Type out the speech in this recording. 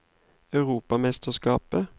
europamesterskapet